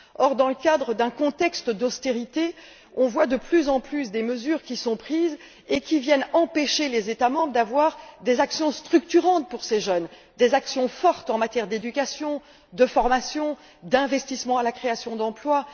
Or, dans le cadre d'un contexte d'austérité, un nombre croissant de mesures sont prises et viennent empêcher les États membres de mener des actions structurantes pour ces jeunes, des actions fortes en matière d'éducation, de formation et d'investissement dans la création d'emplois.